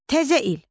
Təzə il.